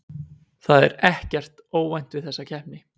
Það er EKKERT óvænt við þessa keppni.